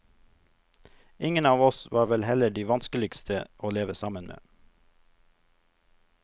Ingen av oss var vel heller de vanskeligste å leve sammen med.